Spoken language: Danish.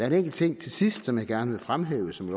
en enkelt ting til sidst som jeg også gerne vil fremhæve som